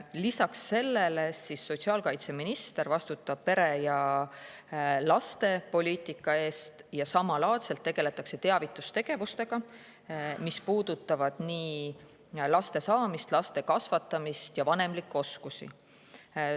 Lisaks, sotsiaalkaitseminister vastutab pere- ja lastepoliitika eest ja samalaadselt tegeldakse teavitustegevustega, mis puudutavad nii laste saamist, laste kasvatamist kui ka vanemlikke oskusi.